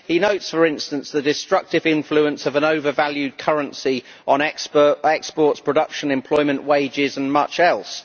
He notes, for instance, the destructive influence of an overvalued currency on exports, production, employment, wages and much else.